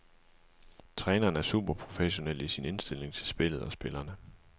Træneren er superprofessionel i sin indstilling til spillet og spillerne.